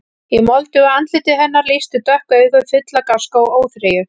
Í moldugu andliti hennar lýstu dökk augu, full af gáska og óþreyju.